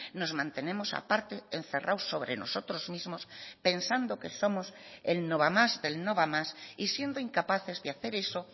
nos mantenemos aparte encerrados sobre nosotros mismos pensando que somos el no va más del no va más y siendo incapaces de hacer eso